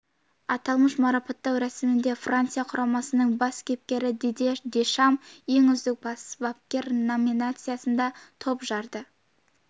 аталмыш марапаттау рәсімінде франция құрамасының бас бапкері дидье дешам ең үздік бас бапкер номинациясында топ жарды